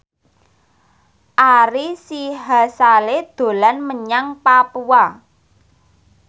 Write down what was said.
Ari Sihasale dolan menyang Papua